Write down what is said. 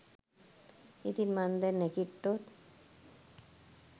ඉතින් මං දැන් නැගිට්ටොත්